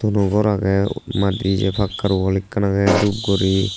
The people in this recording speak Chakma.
thono ghor age pakkar wall ekkan age dhup gori.